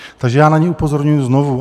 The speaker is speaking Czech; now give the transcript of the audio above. Takže já na ně upozorňuji znovu.